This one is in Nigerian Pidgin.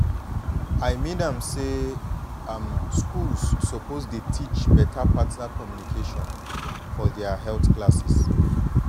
i mean am say um schools suppose dey teach partner communication for their health classes